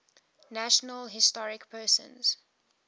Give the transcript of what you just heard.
national historic persons